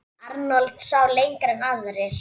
Arnold sá lengra en aðrir.